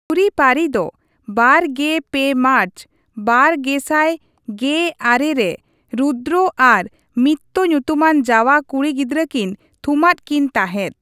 ᱡᱩᱨᱤᱼᱯᱟᱹᱨᱤ ᱫᱚ ᱒᱓ ᱢᱟᱨᱪ ᱒᱐᱑᱙ᱼᱨᱮ ᱨᱩᱫᱽᱫᱨᱚ ᱟᱨ ᱢᱤᱛᱛᱨᱚ ᱧᱩᱛᱩᱢᱟᱱ ᱡᱟᱣᱟ ᱠᱩᱲᱤ ᱜᱤᱫᱽᱨᱟᱹᱠᱤᱱ ᱛᱷᱩᱢᱟᱫ ᱠᱤᱱ ᱛᱟᱦᱮᱸᱫ ᱾